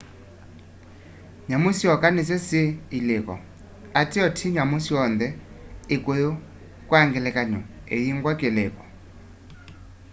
nyamu syoka nisyo syi iliko ateo ti nyamu syonthe; ikuyu kwa ngelekany'o iyingwa kiliko